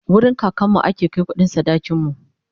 wurin kakanmu ake Kai kuɗin sadakin mu